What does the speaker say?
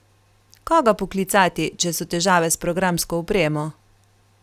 Koga poklicati, če so težave s programsko opremo?